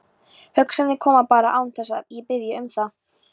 Hugsanirnar koma bara án þess að ég biðji um það.